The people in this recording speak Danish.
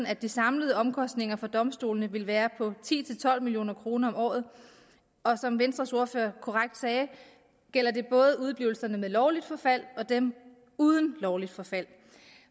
at de samlede omkostninger for domstolene ville være på ti til tolv million kroner om året og som venstres ordfører korrekt sagde gælder det både udeblivelser med lovligt forfald og dem uden lovligt forfald